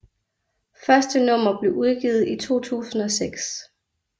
Første nummer blev udgivet i 2006